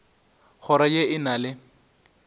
kgoro ye e na le